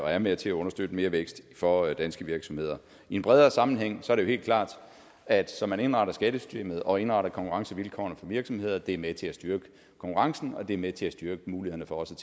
og er med til at understøtte mere vækst for danske virksomheder i en bredere sammenhæng er det helt klart at som man indretter skattesystemet og indretter konkurrencevilkårene for virksomheder er det med til at styrke konkurrencen og det er med til at styrke mulighederne for også